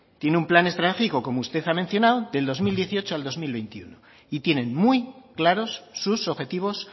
tiene un plan estratégico como usted ha mencionado del dos mil dieciocho al dos mil veintiuno y tienen muy claros sus objetivos